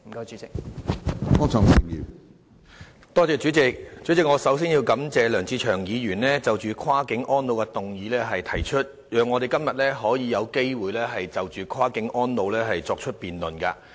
主席，首先，我要感謝梁志祥議員提出這項"跨境安老"議案，讓我們有機會就跨境安老問題進行辯論。